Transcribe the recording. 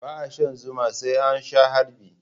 Ba'a shan zuma sai an sha harbi.